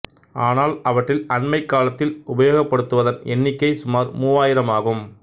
ஆனால் அவற்றில் அண்மைக் காலத்தில் உபயோகப்படுத்துவதன் எண்ணிக்கை சுமார் மூவாயிரமாகும்